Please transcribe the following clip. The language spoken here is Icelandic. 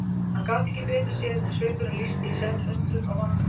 Hann gat ekki betur séð en svipurinn lýsti í senn undrun og vantrú.